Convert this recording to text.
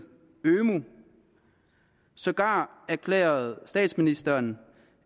ømu og sågar erklærede statsministeren